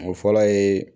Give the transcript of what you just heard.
O fɔlɔ ye